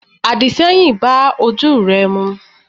àdìṣẹ́yìn bá ojú re mu.